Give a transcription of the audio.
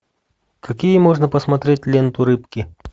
какие можно посмотреть ленту рыбки